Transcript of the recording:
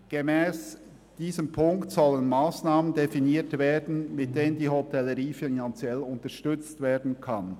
Gemäss dieser Forderung sollen Massnahmen definiert werden, mit denen die Hotellerie finanziell unterstützt werden kann.